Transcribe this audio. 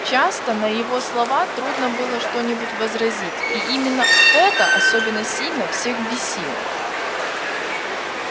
часто на его слова трудно было что-нибудь возразить и именно это особенно сильно всех бесило